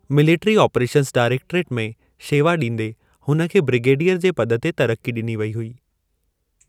Military operations directorate में शेवा ॾींदे हुन खे ब्रिगेडियर जे पद ते तरक्की ॾिनी वई हुई।